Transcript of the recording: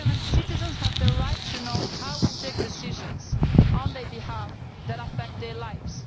Citizens have the right to know how we take decisions on their behalf which affect their lives.